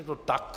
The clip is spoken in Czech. Je to tak.